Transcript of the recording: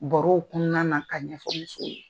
Baro kunnana ka ɲɛfɔli f' o ye.